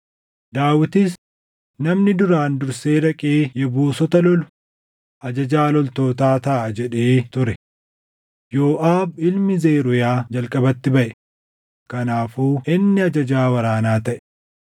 Daawitis, “Namni duraan dursee dhaqee Yebuusota lolu ajajaa loltootaa taʼa” jedhee ture. Yooʼaab ilmi Zeruuyaa jalqabatti baʼe; kanaafuu inni ajajaa waraanaa taʼe.